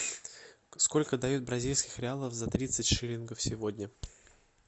сколько дают бразильских реалов за тридцать шиллингов сегодня